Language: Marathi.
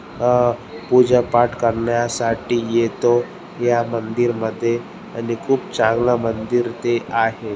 अ पूजा पाठ करण्यासाठी येतो या मंदिर मध्ये आणि खूप चांगल मंदीर ते आहे.